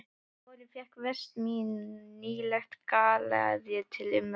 Um vorið fékk Vestmann nýlega galeiðu til umráða.